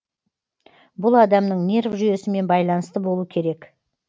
бұл адамның нерв жүйесімен байланысты болу керек